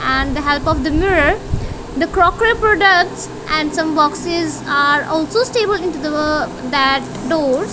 and the help of the mirror the crockery products and some boxes are also stable into the that doors.